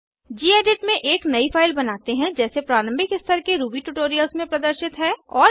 gedit में एक नयी फाइल बनाते हैं जैसे प्रारंभिक स्तर के रूबी ट्यूटोरियल्स में प्रदर्शित हैं